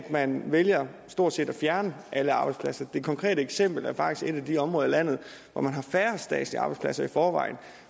man vælger stort set at fjerne alle arbejdspladser det konkrete eksempel er faktisk et af de områder af landet hvor man har færrest statslige arbejdspladser i forvejen